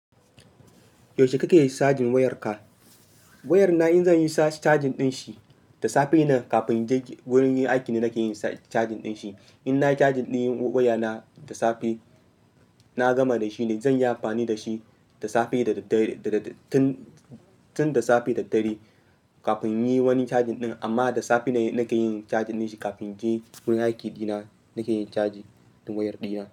Yaushe kake cajin wayarka? Wayar na in zanyi cajin ɗin shi, da safe nan kafin je gurin yin aikin da nake yin cajin ɗin shi. In nayi cajin ɗin wayar na da safe, na gama da shi ne da zanyi amfani da shi tun da safe da dare kafin yin wani cajin ɗin. Amma da safe ne nake yin cajin ɗin shi kafin je gurin aikin ina nake yin cajin wayar dina.